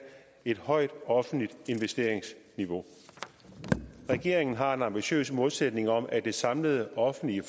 et højt offentligt investeringsniveau regeringen har en ambitiøs målsætning om at det samlede offentlige